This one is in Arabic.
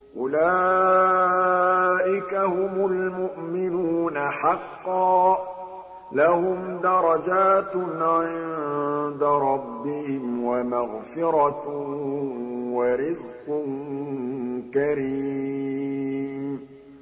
أُولَٰئِكَ هُمُ الْمُؤْمِنُونَ حَقًّا ۚ لَّهُمْ دَرَجَاتٌ عِندَ رَبِّهِمْ وَمَغْفِرَةٌ وَرِزْقٌ كَرِيمٌ